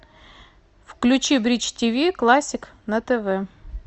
включи бридж тиви классик на тв